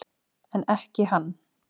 En ekki hann.